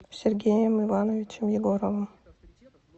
сергеем ивановичем егоровым